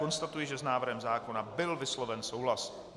Konstatuji, že s návrhem zákona byl vysloven souhlas.